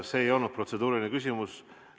See ei olnud protseduuriline küsimus.